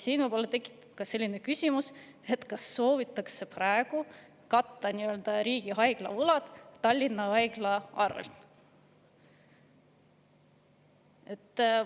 Siin tekib võib-olla küsimus, kas riigihaigla võlad soovitakse praegu katta Tallinna haiglate abil.